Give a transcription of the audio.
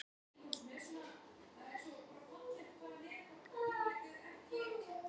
Kristinn: Og þetta er reiðarslag fyrir Flateyri?